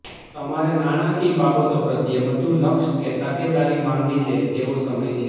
તમારે નાણાંકીય બાબતો પ્રત્યે વધુ લક્ષ કે તકેદારી માગી લે તેવો સમય છે